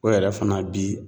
O yɛrɛ fana bi